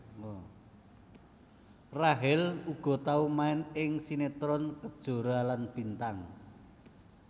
Rachel uga tau main ing sinetron Kejora lan Bintang